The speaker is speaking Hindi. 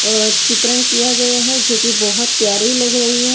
चित्रण किया गया है जो कि बहुत प्यारी लग रही है।